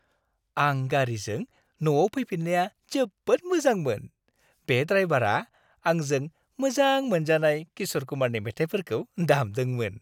आं गारिजों न'आव फैफिन्नाया जोबोद मोजांमोन। बे ड्राइवारा आंजों मोजां मोनजानाय किश'र कुमारनि मेथाइफोरखौ दामदोंमोन।